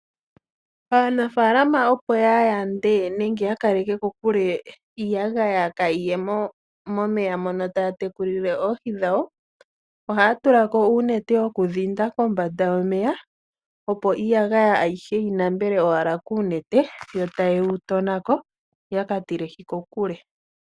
Aanafalama opo yayande nenge yakeleke kokule iiyagaya kaayiye momeya mono taya tekulile oohi dhawo, ohaya tulako uunete wokudhinda kombanda yomeya, opo iiiyagaya ayihe yi nambele owala kuunete, yo tayeyi tonako, yaka tilehi kokule.